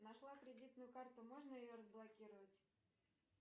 нашла кредитную карту можно ее разблокировать